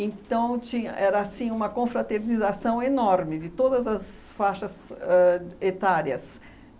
Então tinha era, assim, uma confraternização enorme de todas as faixas ãh etárias.